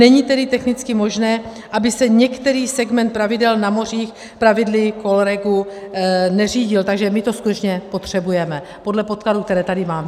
Není tedy technicky možné, aby se některý segment plavidel na mořích pravidly COLREG neřídil, takže my to skutečně potřebujeme, podle podkladů, které tady mám.